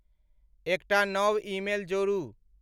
एकटा नव ईमेल जोड़ू।